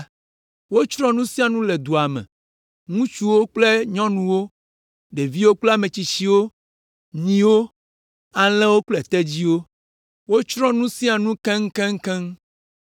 Wotsrɔ̃ nu sia nu le dua me, ŋutsuwo kple nyɔnuwo, ɖeviwo kple ame tsitsiwo, nyiwo, alẽwo kple tedziwo. Wotsrɔ̃ nu sia nu keŋkeŋkeŋ.